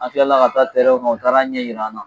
An kilala ka taa tɛrɛn kan u taar'a ɲɛ yir'an na